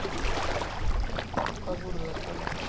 Hvað voru þau að tala um?